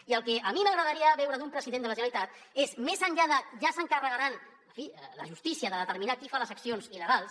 i el que a mi m’agradaria veure d’un president de la generalitat és més enllà de ja se n’encarregarà en fi la justícia de determinar qui fa les accions il·legals